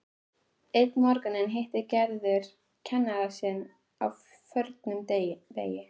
Einn morguninn hittir Gerður kennara sinn á förnum vegi.